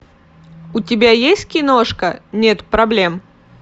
у тебя есть киношка нет проблем